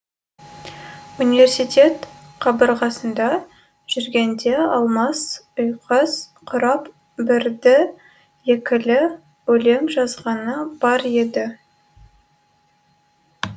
университет қабырғасында жүргенде алмас ұйқас құрап бірді екілі өлең жазғаны бар еді